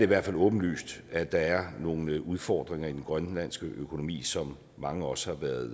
hvert fald åbenlyst at der er nogle udfordringer i den grønlandske økonomi som mange også har været